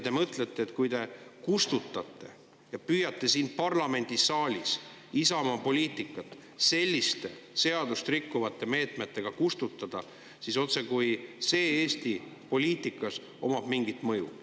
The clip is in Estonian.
Te mõtlete, et kui püüate siin parlamendisaalis Isamaa poliitikat selliste seadust rikkuvate meetmetega kustutada, siis see omab Eesti poliitikas mingit mõju.